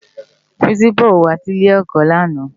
Pirinsipá ó wá si ilé èkò làná